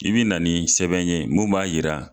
I bi na ni sɛbɛn ye mun b'a yira